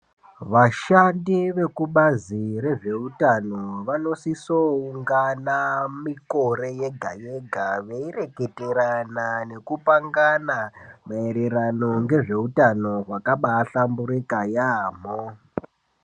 Vashandi vekubazi rezveutano vanosiso ungana mikore yega yega Veirwketerana nekupangana maererano ngezveutano hwakabaa hlamburika yaamho.